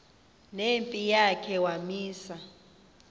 nempi yakhe wamisa